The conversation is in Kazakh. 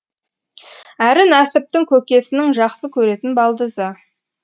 әрі нәсіптің көкесінің жақсы көретін балдызы